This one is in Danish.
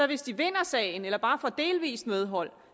hvis de vinder sagen eller bare får delvis medhold